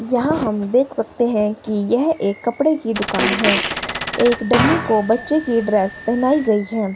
यहां हम देख सकते हैं कि यह एक कपड़े की दुकान है एक डमी को बच्चों की ड्रेस पहनी गई हैं।